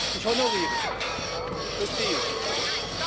Ich honoriere das, verstehe Sie auch.